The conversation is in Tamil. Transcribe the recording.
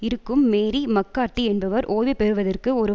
இருக்கும் மேரி மக்கார்த்தி என்பவர் ஓய்வு பெறுவதற்கு ஒரு